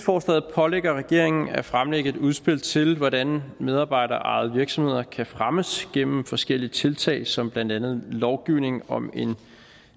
pålægger regeringen at fremlægge et udspil til hvordan medarbejderejede virksomheder kan fremmes gennem forskellige tiltag som blandt andet lovgivning om en